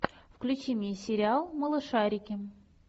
включи мне сериал малышарики